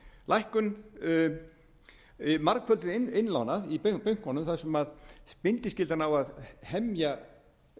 lækkun margfaldra innlána í bönkunum það er margföldun innlána í bönkunum þar sem bindiskyldan á að hemja